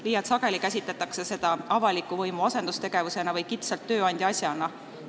Liialt sageli käsitletakse seda avaliku võimu asendustegevusena või kitsalt tööandja asjana.